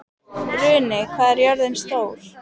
Runi, hvað er jörðin stór?